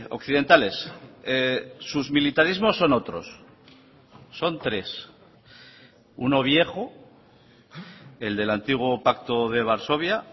occidentales sus militarismos son otros son tres uno viejo el del antiguo pacto de varsovia